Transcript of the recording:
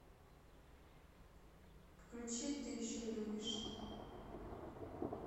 включи ты еще любишь